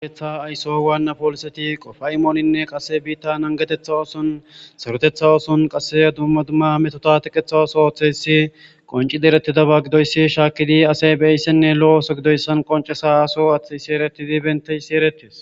gaeetha ayso waannapooliseti qofa imooninne qasse biitta angetetha oosun sarutetha oosun qasse dumma dumma metota tiqetha oso aththeysi qonci derettidaba gidoyssi shaakidi asay beeyssenne lo7o oso gidoyssan qonce saaso athi isi eretidi benteyissi eretes